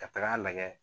Ka taga lagɛ